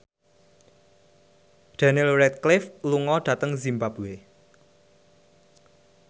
Daniel Radcliffe lunga dhateng zimbabwe